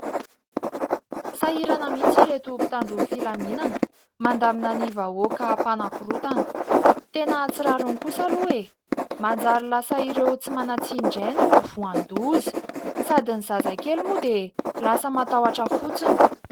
Sahirana mihitsy ireto mpitandro ny filaminana mandamina ny vahoaka mpanakorotana. Tena tsy rariny kosa aloha e! Manjary lasa ireo tsy manan-tsiny indray no vohan'ny loza, sady ny zazakely moa dia lasa matahotra fotsiny.